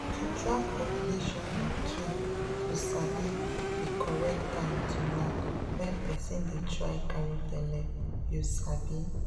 to track ovulation na key to sabi di correct time to knack when person dey try carry belle you sabi.